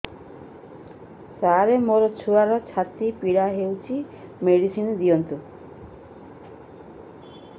ସାର ମୋର ଛୁଆର ଛାତି ପୀଡା ହଉଚି ମେଡିସିନ ଦିଅନ୍ତୁ